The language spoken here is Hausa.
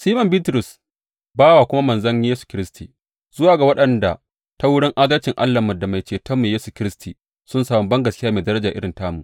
Siman Bitrus, bawa da kuma manzon Yesu Kiristi, Zuwa ga waɗanda ta wurin adalcin Allahnmu da Mai Cetonmu Yesu Kiristi sun sami bangaskiya mai daraja irin tamu.